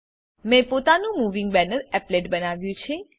મેં પોતાનું moving banner applet બનાવ્યું છે